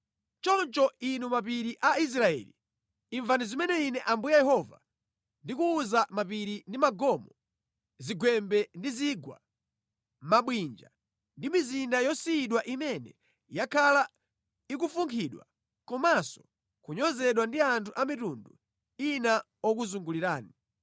choncho, inu mapiri a Israeli, imvani zimene Ine Ambuye Yehova ndikuwuza mapiri ndi magomo, zigwembe ndi zigwa, mabwinja ndi mizinda yosiyidwa imene yakhala ikufunkhidwa komanso kunyozedwa ndi anthu a mitundu ina okuzungulirani.